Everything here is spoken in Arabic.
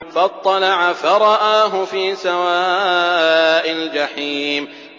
فَاطَّلَعَ فَرَآهُ فِي سَوَاءِ الْجَحِيمِ